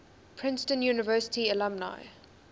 princeton university alumni